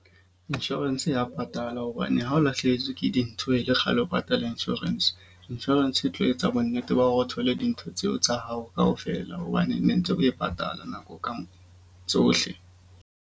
Insurance ya patala hobane ha o lahlehetswe ke dintho e le kgale o patala insurance. Insurance e tlo etsa bonnete ba hore o thole dintho tseo tsa hao kaofela. Hobane ne ntse o e patala nako tsohle.